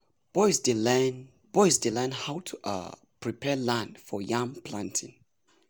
boys dey learn boys dey learn how um to prepare land for yam planting.